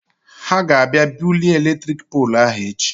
He ga abịa bulie eletrik poolụ ahụ echi.